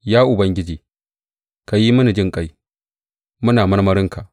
Ya Ubangiji, ka yi mana jinƙai; muna marmarinka.